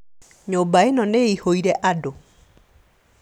Nyũmba ĩno nĩĩihũire andũ